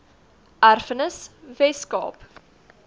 erfenis wes kaap